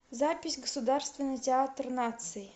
запись государственный театр наций